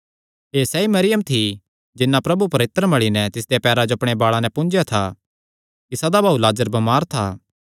एह़ सैई मरियम थी जिन्नै प्रभु पर इत्तर मल़ी नैं तिसदेयां पैरां जो अपणे बाल़ां नैं पुंज्जेया था इसादा भाऊ लाजर बमार था